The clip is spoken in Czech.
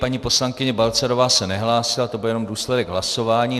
Paní poslankyně Balcarová se nehlásila, to byl jen důsledek hlasování.